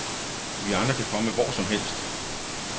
Vi andre kan komme hvor som helst.